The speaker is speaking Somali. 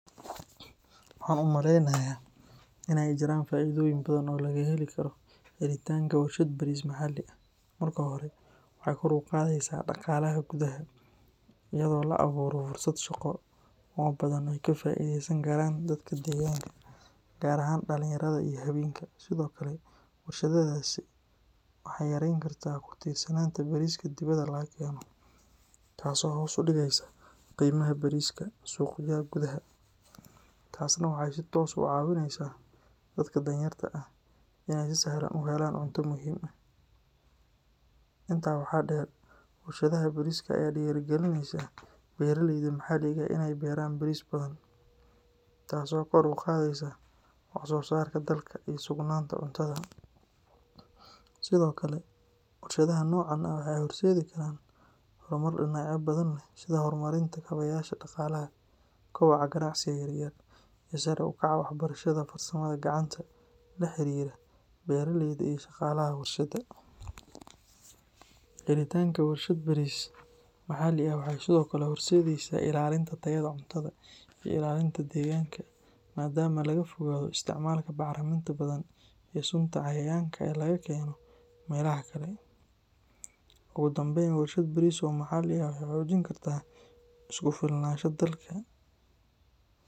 Waxan umaleeynaya inay jiran faa'iidonyin badan o laga heli karo helitaanka warshaad baris maxali marka hore waxay kor uqadeysa daqaalaha gudaha iyado laaburo fursad shaqo o badan ayka faideystan karan dadka degaanka gar aahan dalanyarada iyo haweenka sido kale warshadadaasi waxay yareen karta kutirsanan dibada lagakeeno taas o hoos udigeeyso qimaha bariska suqyaha gudaha taasi waxay si toosi u cawineysa dadka daan yarta ah inay si sahlan uhelaan cunta muhim ah inta waxa dheer, warshadaha bariska aya dhirigalineysa beera leeyda maxaliga inay beeran baris badan tas o koor uqadeysa wax soosarka dalka I sugnanta cuntada. sido kale warshadaha nocaan ah waxay horseedi karan hormar dinacya badan leeh sida hormarinta kabayasha daqalaha kuwa gancsiga yar yar inay kor u kacan waxbarshada farsama gacnta lexeriira beeraleyda iyo shaqalaha warshada. Helitanka warshad baris mxaali aah waxay sido kale horsedeeysa ilaalinta tayada cuntada ii ilaanlita deganka. Maadama laga fogaado isticmalka baxriminta badan ii suunta cayayaanka e lagakeeno melaha kale. Ugu dambeeyn warshad baris o maxaali ah waxay xoojinkarta isku filanasha dalka.